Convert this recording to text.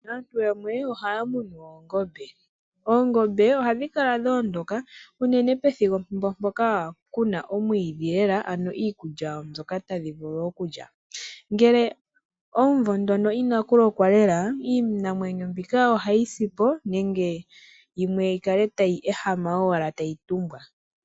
Aantu yamwe ohaya munu oongombe. Oongombe ohadhi kala dho ondoka unene pethimbo mpoka pena omwiidhi lela ano iikulya mbyoka tadhi vulu okulya. Ngele omumvo ngono inakulokwa lela iinamwenyo mbika ohayisipo nenge yikale tayi ehama lela tayi tumbwa.